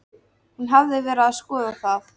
Hún hafði verið að skoða það.